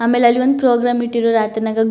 ಆಮೇಲೆ ಅಲ್ಲಿ ಒಂದು ಪ್ರೋಗ್ರಾಮ್ ಇಟ್ಟಿರೋರು ರಾತ್ರಿನಾಗೆ --